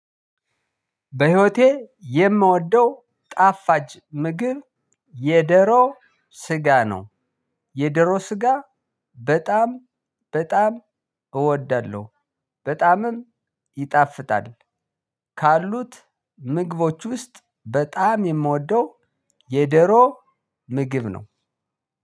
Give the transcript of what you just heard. በህይወቴ የምወደው ጣፋጭ ምግብ የደሮ ስጋ ነው። የዶሮ ስጋ በጣም በጣም እወዳለሁ በጣምም ይጣፍጣል። ካሉት ምግቦች ውስጥ በጣም የምወደው የደሮ ምግብ ነው።